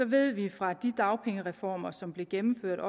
ved vi fra de dagpengereformer som blev gennemført